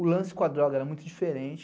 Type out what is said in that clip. O lance com a droga era muito diferente.